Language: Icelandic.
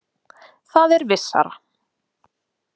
Það er vissara.